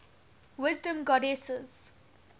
wisdom goddesses